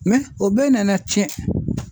o bɛɛ nana tiɲɛ